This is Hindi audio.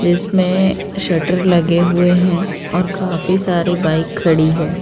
जिसमें अ शटर लगे हुए हैं और काफी सारी बाइक खड़ी है।